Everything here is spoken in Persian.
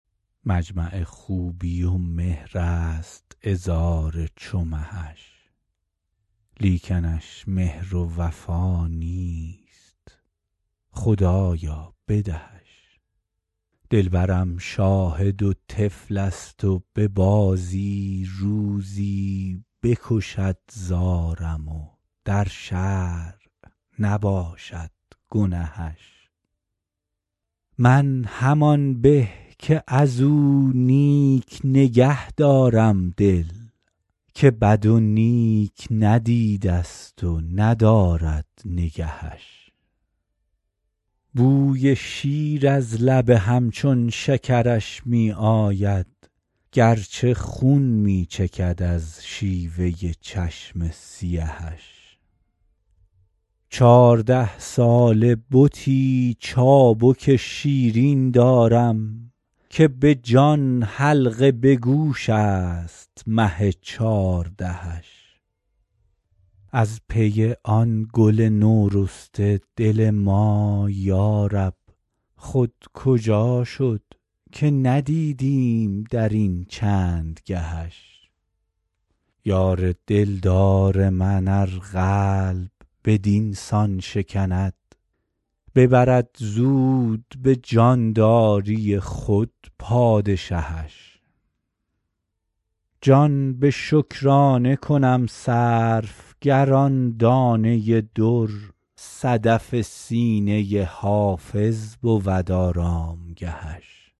مجمع خوبی و لطف است عذار چو مهش لیکنش مهر و وفا نیست خدایا بدهش دلبرم شاهد و طفل است و به بازی روزی بکشد زارم و در شرع نباشد گنهش من همان به که از او نیک نگه دارم دل که بد و نیک ندیده ست و ندارد نگهش بوی شیر از لب همچون شکرش می آید گرچه خون می چکد از شیوه چشم سیهش چارده ساله بتی چابک شیرین دارم که به جان حلقه به گوش است مه چاردهش از پی آن گل نورسته دل ما یارب خود کجا شد که ندیدیم در این چند گهش یار دلدار من ار قلب بدین سان شکند ببرد زود به جانداری خود پادشهش جان به شکرانه کنم صرف گر آن دانه در صدف سینه حافظ بود آرامگهش